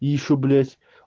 и ещё блять